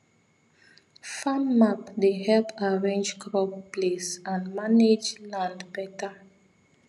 farm map dey help arrange crop place and manage land better